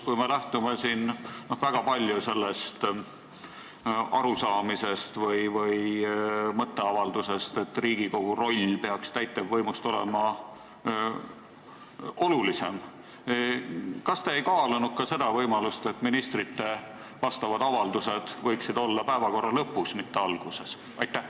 Kui me lähtume siin väga palju sellest arusaamisest või mõtteavaldusest, et Riigikogu roll peaks täitevvõimust olulisem olema, kas siis Riigikogu juhatus ei kaalunud ka seda võimalust, et ministrite avaldused võiksid olla päevakorra lõpus, mitte alguses?